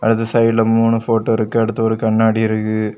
அந்த சைடுல மூணு ஃபோட்டோ இருக்கு அடுத்து ஒரு கண்ணாடி இருக்கு.